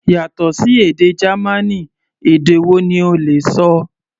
Yàtọ̀ sí èdè Gamaní, èdè wo ni o lè ṣọ?